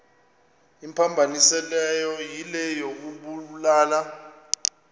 imphambanisileyo yile yokubulala